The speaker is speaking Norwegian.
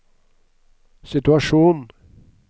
situasjon